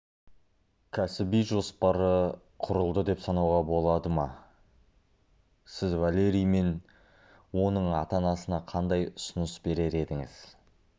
кәсіби жоспары құрылды деп санауға болады ма сіз валерий мен оның ата-анасына қандай ұсыныс берер едіңіз